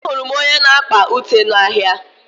Ahụrụ m onye na-akpa ụte n'ahia.